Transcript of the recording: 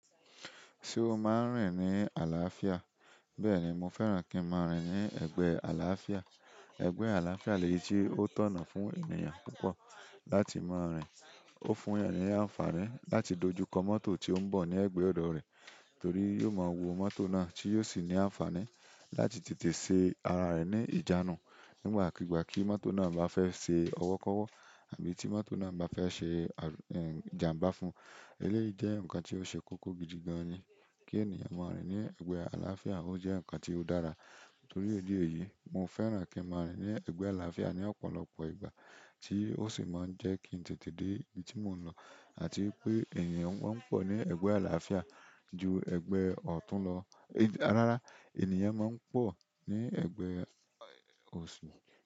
Ṣé o máa ń rìn ní àlàáfíà? Bẹ́ẹ̀ni, mo fẹ́ràn an kí n máa rìn ní ẹ̀gbẹ́ ẹ àlàááfìà, ẹ̀gbẹ́ àlàááfìà lèyí tí ó tọ́nà fún ènìyàn púpọ̀ láti máa rìn. Ó fún ènìyàn ní àǹfààní láti dojú kọ mọ́tò tí ó ń bọ̀ ní ẹ̀gbẹ́ ọ̀dọ̀ rẹ̀ torí yóò máa wo mọ́tò náà tí yóò sì ní àǹfààní láti tètè ṣe ara rẹ̀ ní ìjánu nígbàkigbà kí mọ́tò náà bá fẹ́ ṣe ọwọ́kọ́wọ́ àbí tí mọ́tò náà bá fẹ́ ṣe àlù, ẹ̀, ìjànbá fún. Eléyìí jẹ́ ǹkan tí ó ṣe kókó gidi gan-an ni. Kí ènìyàn máa rìn ní ẹ̀gbẹ́ àlàááfìà ó jẹ́ ǹkan tí o dára, torì ìdí èyí mo fẹ̀ran kí n máa rìn ní ẹ̀gbẹ́ àlàááfìà ní ọ̀pọ̀lọpọ̀ ìgbà tí ó sì jẹ́ kí n tètè máa dé ibi ti mo ńlọ. Àti pé ènìyàn máa ń pọ̀ ní ẹ̀gbẹ́ àlàáfíà ju ẹ̀gbẹ́ẹ ọ̀tún lọ. Rárá, ènìyàn máa ń pọ̀ ní ẹ̀gbẹ́, ẹ́, òsì.